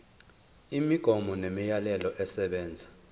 imigomo nemiyalelo esebenza